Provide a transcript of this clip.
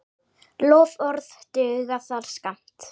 Loforð duga þar skammt.